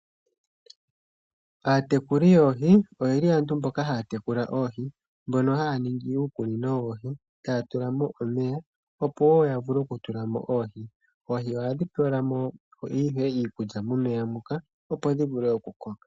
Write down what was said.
Aatekuli yoohi oye li aantu mboka haya tekula oohi mbono haya ningi uukunino wawo, taya tula mo omeya opo wo ya vule okutula mo oohi. Oohi ohadhi pewelwa mo iikulya momeya muka opo dhi vule okukoka.